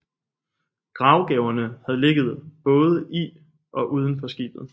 Gravgaverne havde ligget både i og uden for skibet